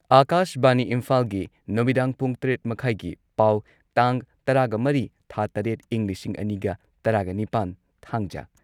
ꯑꯥꯀꯥꯁꯕꯥꯅꯤ ꯏꯝꯐꯥꯜꯒꯤ ꯅꯨꯃꯤꯗꯥꯡ ꯄꯨꯡ ꯇꯔꯦꯠ ꯃꯈꯥꯢꯒꯤ ꯄꯥꯎ ꯇꯥꯡ ꯇꯔꯥꯒꯃꯔꯤ ꯊꯥ ꯇꯔꯦꯠ ꯢꯪ ꯂꯤꯁꯤꯡ ꯑꯅꯤꯒ ꯇꯔꯥꯒꯅꯤꯄꯥꯟ, ꯊꯥꯡꯖ